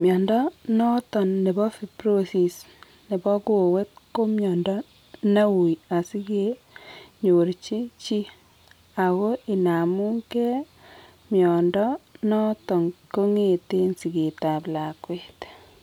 Mnyondo noton nebo fibrosis nebo kowet ko mnyondo neuui asike nyorchi chi ako inamu gee mnyondo noton kongeten sigeet ab lakwet